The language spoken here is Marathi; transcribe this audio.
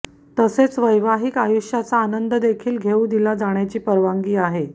तसेच वैवाहिक आयुष्याचा आनंद देखील घेऊ दिला जाण्याची परवानगी आहे